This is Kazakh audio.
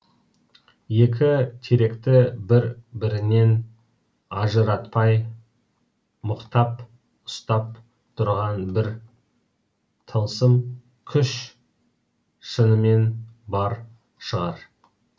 екі теректі бір біріннен ажыратпай мықтап ұстап тұрған бір тылсым күш шынымен бар шығар